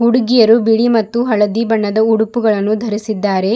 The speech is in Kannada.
ಹುಡುಗಿಯರು ಬಿಳಿ ಮತ್ತು ಹಳದಿ ಬಣ್ಣದ ಉಡುಪುಗಳನ್ನು ಧರಿಸಿದ್ದಾರೆ.